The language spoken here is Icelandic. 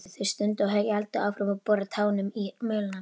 Þau stundu og héldu áfram að bora tánum í mölina.